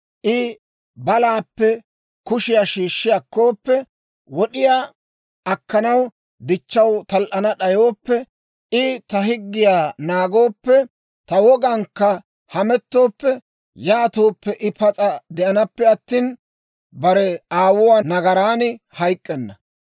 I balaappe kushiyaa shiishshi akkooppe, wod'iyaa akkanaw dichchaw tal"ana d'ayooppe, I ta higgiyaa naagooppe, ta wogankka hamettooppe, yaatooppe, I pas'a de'anappe attina, bare aawuwaa nagaran hayk'k'enna.